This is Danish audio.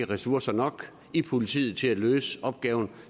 ressourcer i politiet til at løse opgaven